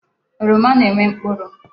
Oroma na-enwe mkpụrụ.